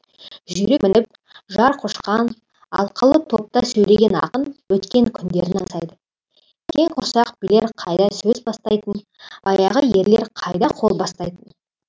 жүйрік мініп жар құшқан алқалы топта сөйлеген ақын өткен күндерін аңсайды кең құрсақ билер қайда сөз бастайтын баяғы ерлер қайда қол бастайтын